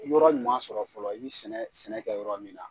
Yɔrɔ ɲuman sɔrɔ fɔlɔ i bɛ sɛnɛ sɛnɛ kɛ yɔrɔ min na.